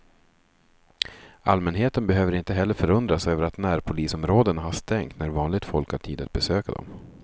Allmänheten behöver inte heller förundras över att närpolisområdena har stängt när vanligt folk har tid att besöka dem.